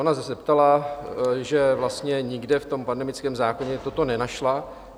Ona se zeptala, že vlastně nikde v tom pandemickém zákoně toto nenašla.